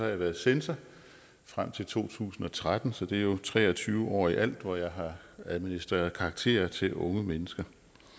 jeg været censor frem til to tusind og tretten så det er jo tre og tyve år i alt hvor jeg har administreret karakterer til unge mennesker